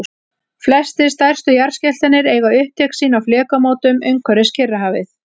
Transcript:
flestir stærstu jarðskjálftarnir eiga upptök sín á flekamótum umhverfis kyrrahafið